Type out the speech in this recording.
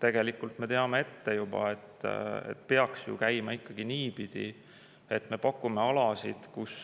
Tegelikult me teame juba ette, et see peaks käima ikka niipidi, et me pakume alasid, kus